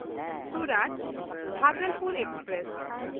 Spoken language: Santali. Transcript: ᱥᱩᱨᱟᱛ–ᱵᱷᱟᱜᱚᱞᱯᱩᱨ ᱮᱠᱥᱯᱨᱮᱥ